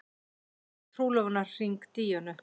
Gaf trúlofunarhring Díönu